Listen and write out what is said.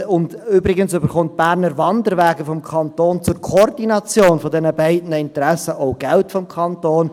Und übrigens bekommen die Berner Wanderwege zur Koordination dieser beiden Interessen auch Geld vom Kanton.